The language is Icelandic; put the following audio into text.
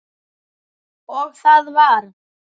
Og það varð.